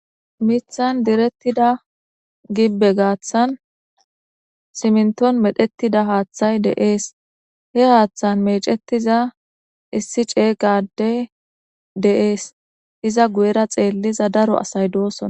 Miththan deretida gibe garsan simnton medhetida hathay de7es. He hathan mecetiza isi cega adey de7es. Izza guyera xeliza daro asay dosona.